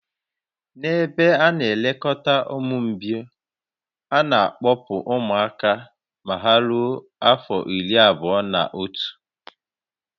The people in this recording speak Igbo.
N'ebe a ana-elekọta ụmụ mgbei, a na-akpọpụ ụmụaka ma ha rue afọ iri abụọ-na-otu